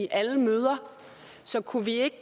alle møder så kunne vi ikke